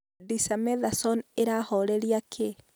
Dexamethasone ĩrahoreria kĩ?